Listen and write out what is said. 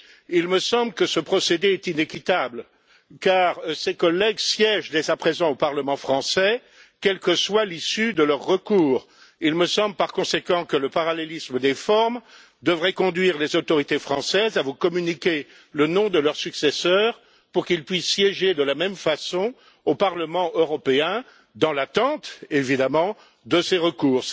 Il me semble que ce procédé est inéquitable, car ces collègues siègent, dès à présent, au Parlement français, quelle que soit l'issue du recours les concernant. Il me semble, par conséquent, que le parallélisme des formes devrait conduire les autorités françaises à vous communiquer le nom de leurs successeurs pour qu'ils puissent siéger de la même façon au Parlement européen, dans l'attente évidemment de l'issue de ces recours.